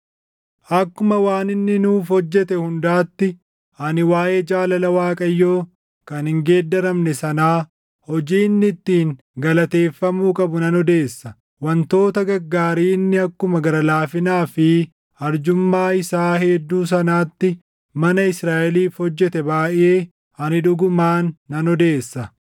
Akkuma waan inni nuuf hojjete hundaatti ani waaʼee jaalala Waaqayyoo // kan hin geeddaramne sanaa hojii inni ittiin galateeffamuu qabu nan odeessa; wantoota gaggaarii inni akkuma gara laafinaa fi arjummaa isaa hedduu sanaatti mana Israaʼeliif hojjete baayʼee ani dhugumaan nan odeessa.